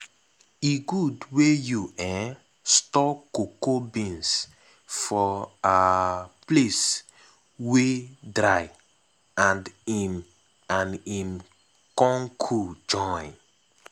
e good wey you um store cocoa beans for um place wey dry and im and im con cool join.